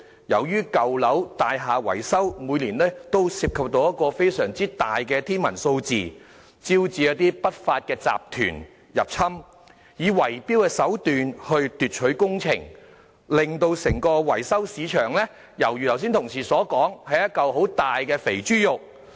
由於舊樓的大廈維修工程每年均涉及一個非常大、近乎天文數字的款額，招致一些不法集團入侵，以圍標手段奪取工程，正如同事剛才所說，令整個維修市場猶如是一塊很大的"肥豬肉"。